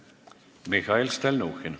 Mihhail Stalnuhhin.